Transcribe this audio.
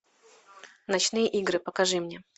ночные игры покажи мне